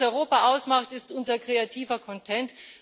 Das, was Europa ausmacht, ist unser kreativer Content.